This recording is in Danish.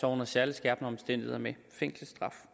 under særlig skærpende omstændigheder med fængselsstraf